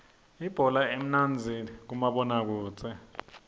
ibhola imnandzi kumabona kudze